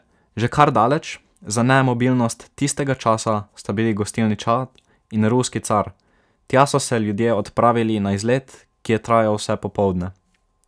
Že kar daleč za nemobilnost tistega časa sta bili gostilni Čad in Ruski car, tja so se ljudje odpravili na izlet, ki je trajal vse popoldne.